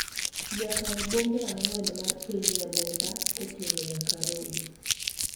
nyaka e bombe ang'wen mar piny Nyalenda ,koting'o nyaka Rodi